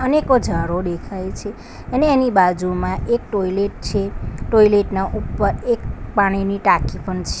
અનેકો ઝાડો દેખાય છે અને એની બાજુમાં એક ટોયલેટ છે ટોયલેટ ના ઉપર એક પાણીની ટાંકી પણ છે.